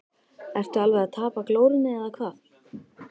Ertu alveg að tapa glórunni eða hvað!